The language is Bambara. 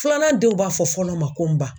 Filanan denw b'a fɔ fɔlɔ ma ko n ba